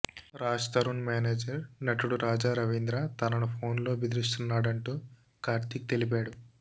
Raj Tarun manager నటుడు రాజా రవీంద్ర తనను ఫోన్లో బెదిరిస్తున్నా డంటూ కార్తీక్ తెలిపాడు